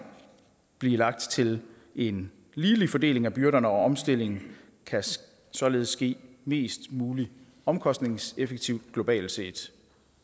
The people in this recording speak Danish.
blive lagt til en ligelig fordeling af byrderne og omstillingen kan således ske mest muligt omkostningseffektivt globalt set